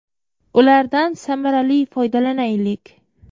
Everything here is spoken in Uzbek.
Ulardan samarali foydalanaylik.